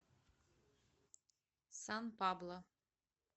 сан пабло